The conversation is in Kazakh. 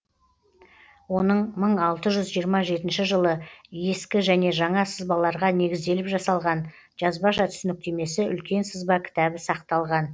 оның мың алты жүз жиырма жетінші жылы ескі және жаңа сызбаларға негізделіп жасалған жазбаша түсініктемесі үлкен сызба кітабы сақталған